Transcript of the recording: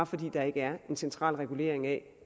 fordi der ikke er en central regulering af